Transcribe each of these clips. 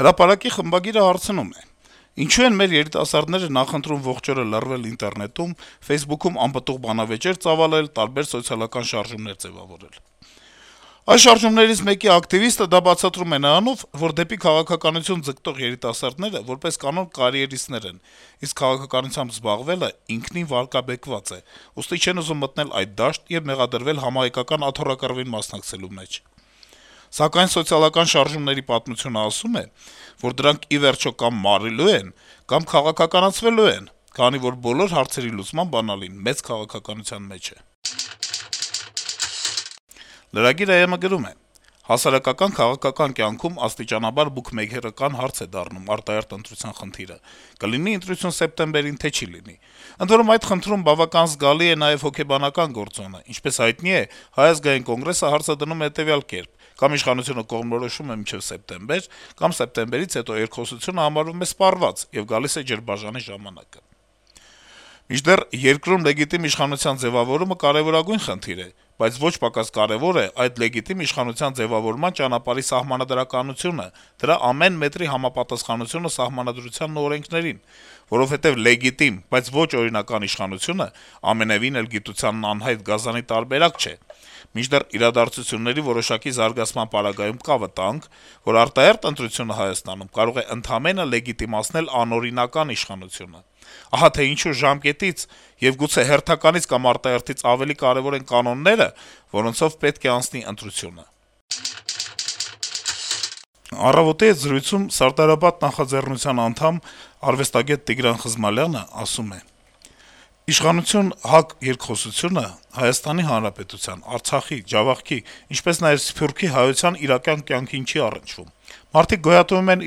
«Հրապարակ»-ի խմբագիրը հարցնում է. - «Ինչո՞ւ են մեր երիտասարդները նախընտրում ողջ օրը «լռվել» ինտերնետում, «Ֆեյսբուքում» անպտուղ բանավեճեր ծավալել, տարբեր սոցիալական շարժումներ ձեւավորել: Այս շարժումներից մեկի ակտիվիստը դա բացատրում է նրանով, որ դեպի քաղաքականություն ձգտող երիտասարդները, որպես կանոն, կարիերիստներ են, իսկ քաղաքականությամբ զբաղվելն ինքնին վարկաբեկված է, ուստի չեն ուզում մտնել այդ դաշտ եւ մեղադրվել համահայկական աթոռակռվին մասնակցելու մեջ: Սակայն սոցիալական շարժումների պատմությունն ասում է, որ դրանք ի վերջո կամ մարելու են, կամ քաղաքականացվելու, քանի որ բոլոր հարցերի լուծման բանալին մեծ քաղաքականության մեջ է»: Lragir.am-ը գրում է. - «Հասարակական-քաղաքական կյանքում աստիճանաբար «բուքմեյքերական» հարց է դառնում արտահերթ ընտրության խնդիրը` կլինի ընտրություն սեպտեմբերին, թե չի լինի: Ընդ որում, այդ խնդրում բավական զգալի է նաեւ հոգեբանական գործոնը: Ինչպես հայտնի է, Հայ ազգային կոնգրեսը հարցը դնում է հետեւյալ կերպ. կամ իշխանությունը կողմնորոշվում է մինչեւ սեպտեմբեր, կամ սեպտեմբերից հետո երկխոսությունը համարվում է սպառված, եւ գալիս է ջրբաժանի ժամանակը: Մինչդեռ երկրում լեգիտիմ իշխանության ձեւավորումը կարեւորագույն խնդիր է, բայց ոչ պակաս կարեւոր է այդ լեգիտիմ իշխանության ձեւավորման ճանապարհի սահմանադրականությունը, դրա ամեն մետրի համապատասխանությունը Սահմանադրությանն ու օրենքներին, որովհետեւ լեգիտիմ, բայց ոչ օրինական իշխանությունն ամենեւին էլ «գիտությանն անհայտ գազանի» տարբերակ չէ: Մինչդեռ իրադարձությունների որոշակի զարգացման պարագայում կա վտանգ, որ արտահերթ ընտրությունը Հայաստանում կարող է ընդամենը լեգիտիմացնել անօրինական իշխանությունը: Ահա թե ինչու ժամկետից, եւ գուցե հերթականից կամ արտահերթից ավելի կարեւոր են կանոնները, որոնցով պետք է անցնի ընտրությունը»: «Առավոտ»-ի հետ զրույցում «Սարդարապատ» նախաձեռնության անդամ, արվեստագետ Տիգրան Խզմալյանը ասում է. - «Իշխանություն - ՀԱԿ երկխոսությունը Հայաստանի Հանրապետության, Արցախի, Ջավախքի, ինչպես նաեւ Սփյուռքի հայության իրական կյանքին չի առնչվում: Մարդիկ գոյատեւում են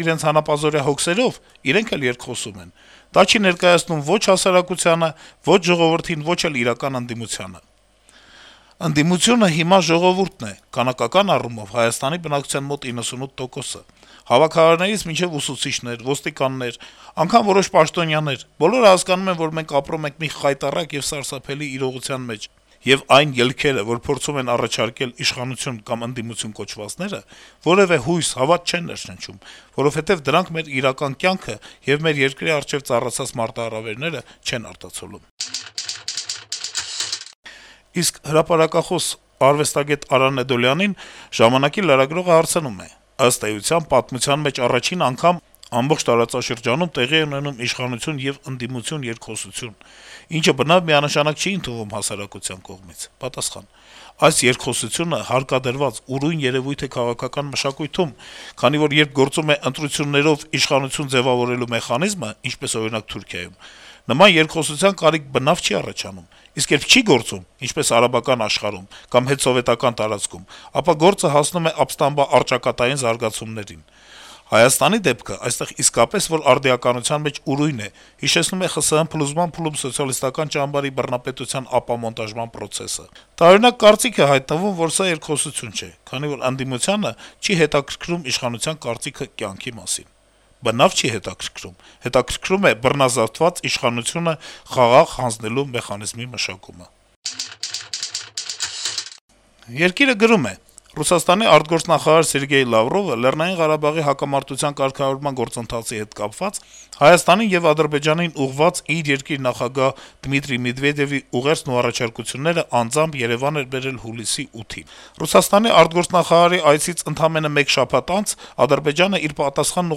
իրենց հանապազօրյա հոգսերով, իրենք էլ երկխոսում են: Դա չի ներկայացնում ո'չ հասարակությանը, ո'չ ժողովրդին, ո'չ էլ իրական ընդդիմությանը: Ընդդիմությունը հիմա ժողովուրդն է, քանակական առումով` Հայաստանի բնակչության մոտ 98 տոկոսը: Հավաքարարներից մինչեւ ուսուցիչներ, ոստիկաններ, անգամ որոշ պաշտոնյաներ. բոլորը հասկանում են, որ մենք ապրում ենք մի խայտառակ եւ սարսափելի իրողության մեջ, եւ այն ելքերը, որ փորձում են առաջարկել իշխանություն կամ ընդդիմություն կոչվածները, որեւէ հույս, հավատ չեն ներշնչում: Որովհետեւ դրանք մեր իրական կյանքը եւ մեր երկրի առջեւ ծառացած մարտահրավերները չեն արտացոլում»: Իսկ հրապարակախոս, արվեստագետ Արա Նեդոլյանին «Ժամանակ»-ի լրագրողը հարցնում է. - «Ըստ էության պատմության մեջ առաջին անգամ ամբողջ տարածաշրջանում տեղի է ունենում իշխանություն եւ ընդդիմություն երկխոսություն, ինչը բնավ միանշանակ չի ընդունվում հասարակության կողմից»: Պատասխան. - «Այս երկխոսությունը հարկադրված, ուրույն երեւույթ է քաղաքական մշակույթում, քանի որ երբ գործում է ընտրություններով իշխանություն ձեւավորելու մեխանիզմը, ինչպես, օրինակ, Թուրքիայում, նման երկխոսության կարիք բնավ չի առաջանում: Իսկ երբ չի գործում, ինչպես արաբական աշխարհում կամ հետսովետական տարածքում, ապա գործը հասնում է ապստամբաառճակատային զարգացումներին: Հայաստանի դեպքը այստեղ իսկապես որ արդիականության մեջ ուրույն է, հիշեցնում է ԽՍՀՄ փլուզման փուլում սոցիալիստական ճամբարի բռնապետության ապամոնտաժման պրոցեսը: Տարօրինակ կարծիք է հայտնվում, որ սա երկխոսություն չէ, քանի որ ընդդիմությանը չի հետաքրքրում իշխանության կարծիքը կյանքի մասին, բնավ չի հետաքրքրում, հետաքրքրում է բռնազավթված իշխանությունը խաղաղ հանձնելու մեխանիզմի մշակումը»: «Երկիր»-ը գրում է. - «Ռուսաստանի արտգործնախարար Սերգեյ Լավրովը Լեռնային Ղարաբաղի հակամարտության կարգավորման գործընթացի հետ կապված` Հայաստանին եւ Ադրբեջանին ուղղված իր երկրի նախագահ Դմիտրի Մեդվեդեւի ուղերձն ու առաջարկությունները անձամբ Երեւան էր բերել հուլիսի 8-ին: Նրա այցից ընդամենը մեկ շաբաթ անց Ադրբեջանը իր պատասխանը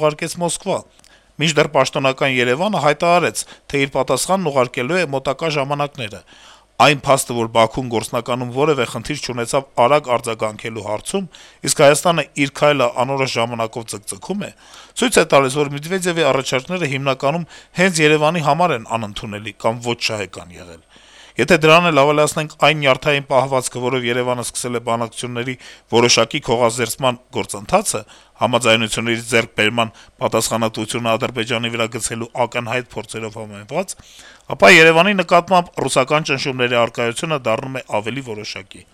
ուղարկեց Մոսկվա, մինչդեռ պաշտոնական Երեւանը հայտարարեց, թե իր պատասխանն ուղարկելու է մոտակա ժամանակները: Այն փաստը, որ Բաքուն գործնականում որեւէ խնդիր չունեցավ արագ արձագանքելու հարցում, իսկ Հայաստանը իր քայլը անորոշ ժամանակով ձգձգում է, ցույց է տալիս, որ Մեդվեդեւի առաջարկները հիմնականում հենց Երեւանի համար են անընդունելի կամ ոչ շահեկան եղել: Եթե դրան էլ ավելացնենք այն նյարդային պահվածքը, որով Երեւանը սկսել է բանակցությունների որոշակի քողազերծման գործընթացը` համաձայնությունների ձեռք բերման պատասխանատվությունը Ադրբեջանի վրա գցելու ակնհայտ փորձերով համեմված, ապա Երեւանի նկատմամբ ռուսական ճնշումների առկայությունը դառնում է ավելի որոշակի»: